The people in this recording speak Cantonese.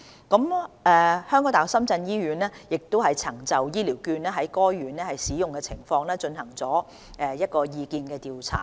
港大深圳醫院曾就醫療券在該院的使用情況進行意見調查。